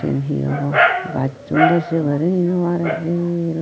iyen hi hobw gassun dw seburi nw arey el.